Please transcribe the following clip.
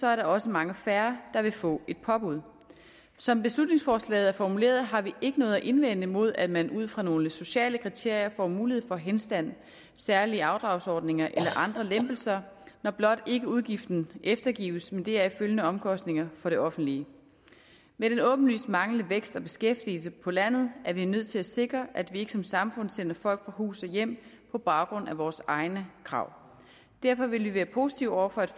er der også langt færre der vil få et påbud som beslutningsforslaget er formuleret har vi ikke noget at indvende mod at man ud fra nogle sociale kriterier får mulighed for henstand særlige afdragsordninger eller andre lempelser når blot ikke udgiften eftergives med deraf følgende omkostninger for det offentlige med den åbenlyse manglende vækst og beskæftigelse på landet er vi nødt til at sikre at vi ikke som samfund sender folk fra hus og hjem på baggrund af vores egne krav derfor vil vi være positive over for at